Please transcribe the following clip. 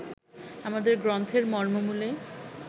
আমাদের গ্রন্থের মর্মমূলে